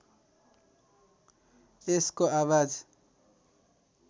यसको आवाज